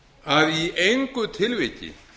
að í engu tilviki